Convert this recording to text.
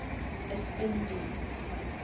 is in die